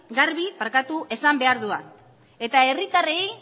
garbi esan behar dugu eta herritarrei